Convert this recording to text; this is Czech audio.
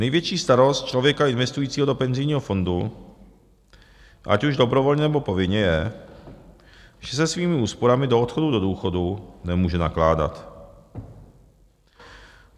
Největší starost člověka investujícího do penzijního fondu, ať už dobrovolně, nebo povinně, je, že se svými úsporami do odchodu do důchodu nemůže nakládat.